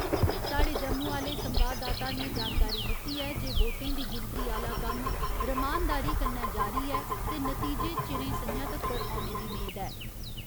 स्हाड़े जम्मू आह्‌ले संवाददाता ने जानकारी दित्ती ऐ जे वोटें दी गिनतरी आह्‌ला कम्म रमानदारी कन्नै जारी ऐ ते नतीजे चिरें सं'ञा तक्कर औने दी मेद ऐ।